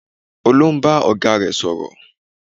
Olú ń bá ọ̀gá rẹ̀ sọ̀rọ̀